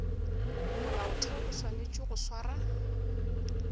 molaotheo o swanetše go swara